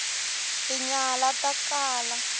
tinyala ta kala